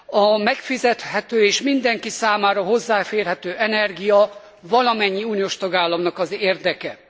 A megfizethető és mindenki számára hozzáférhető energia valamennyi uniós tagállamnak az érdeke.